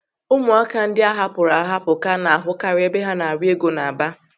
Ụmụaka ndị a hapụrụ ahapụ ka a na-ahụkari ebe ha na-arịọ ego n'Aba